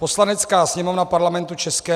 "Poslanecká sněmovna Parlamentu ČR